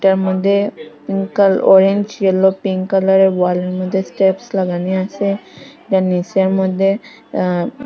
এর মদ্যে পিঙ্ক কাল ওরেঞ্জ ইয়োলো পিঙ্ক কালারের ওয়ালের মদ্যে স্টেপস্ লাগানি আসে তার নীচের মদ্যে আ--